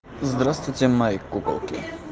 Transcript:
здравствуйте мои куколки